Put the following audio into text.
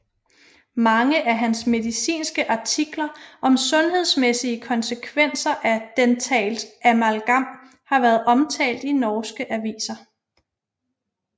Mange af hans medicinske artikler om sundhedsmæssige konsekvenser af dentalt amalgam har været omtalt i norske aviser